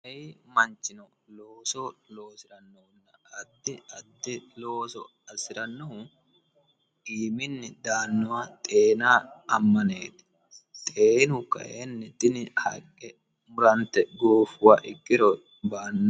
ayi manchino looso loosi'rannohunna addi addi looso assi'rannohu iiminni daannoha xeenaa ammaneeti xeenu kayeenni tini haqqe murante goofuha ikkiro ba"anno